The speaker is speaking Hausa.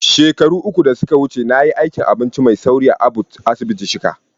Shekaru uku da suka wuce, na yi aikin abinci mai sauri a ABUTH asibiti shika.